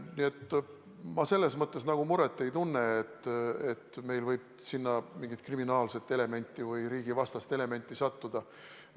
Nii et ma selle pärast muret ei tunne, et meil võib sinna mingit kriminaalset või riigivastast elementi sattuda.